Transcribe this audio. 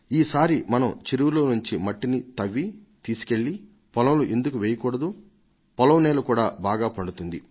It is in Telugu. ఈసారి మనం చెరువులోంచి మట్టిని తవ్వి తీసుకెళ్లి పొలంలో ఎందుకు వేయకూడదు పొలం కూడా బాగా పండుతుంది